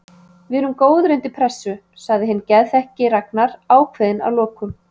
Við erum góðir undir pressu, sagði hinn geðþekki Ragnar ákveðinn að lokum.